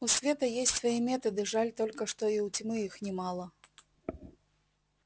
у света есть свои методы жаль только что и у тьмы их немало